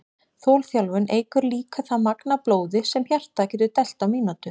Þolþjálfun eykur líka það magn af blóði sem hjartað getur dælt á mínútu.